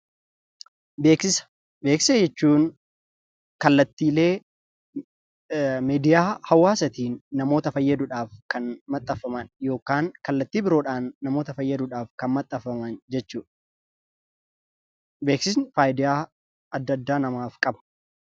Beeksisa jechuu kallattiilee miidiyaa hawaasaatiin namoota fayyaduudhaaf kan maxxanfaman yookaan kallattii biroodhaan namoota fayyaduudhaaf kan maxxanfaman jechuudha. Beeksisni faayidaa adda addaa namaaf qaba.